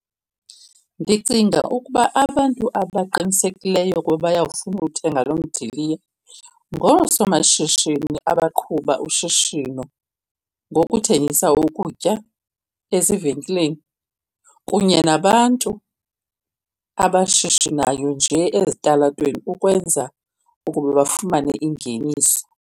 Ndicinga ukuba abantu abaqinisekeliyo ukuba bayafuna uwuthenga lo mdiliya ngoosomashishini abaqhuba ushishino ngokuthengisa ukutya ezivenkileni, kunye nabantu abashishinayo nje ezitalatweni ukwenza ukuba bafumane ingeniso.